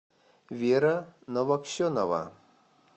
вера новоксенова